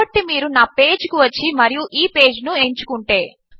కాబట్టి మీరు నా పేజ్ కు వచ్చి మరియు ఈ పేజ్ ను ఎంచుకుంటే